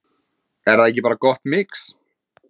Er það ekki bara gott mix?